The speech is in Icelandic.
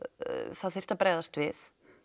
það þyrfti að bregðast við